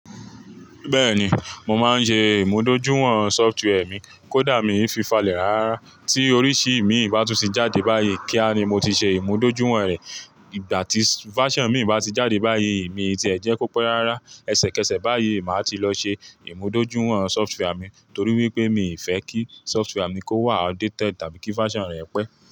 Bẹ́ẹ̀ni, mo máa ń ṣe ìmúdójúwọ̀n software mi, kó dà mí fi n falẹ̀ rárá. Ti oriṣii imi ba tún ti jáde bayi, kíá ni mo ti ṣe imudojuwọn rẹ. Ìgbà tí version mi bá ti jáde báyìí, mi ti ẹ̀ jẹ́ kó pẹ́ rárá. Ẹ̀sẹ̀kẹsẹ̀ báyìí máa ti lọ ṣe ìmúdójúwọ̀n software mi torí wípé mi fẹ́ kí software mi kó wà updated tàbí kí version rẹ̀ pẹ́.